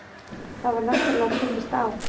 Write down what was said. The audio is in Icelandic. Það var náttúrulega tekist á